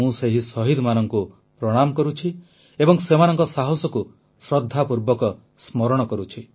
ମୁଁ ସେହି ଶହୀଦମାନଙ୍କୁ ପ୍ରଣାମ କରୁଛି ଏବଂ ସେମାନଙ୍କ ସାହସକୁ ଶ୍ରଦ୍ଧାପୂର୍ବକ ସ୍ମରଣ କରୁଛି